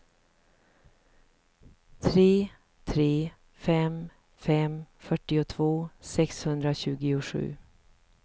tre tre fem fem fyrtiotvå sexhundratjugosju